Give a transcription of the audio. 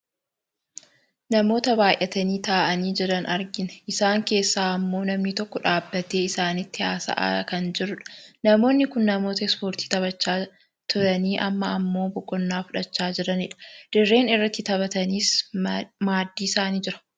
Namoota baayyatanii taa'anii jiran argina , isaan keessaa ammoo namni tokko dhaabbatee isaanitti haasa'aa kan jirudha. Namoonni kun namoota ispoortii taphachaa turanii amma ammoo boqonnaa fudhachaa jiranidha. Dirreen irratti taphatanis maddii isaanii jira.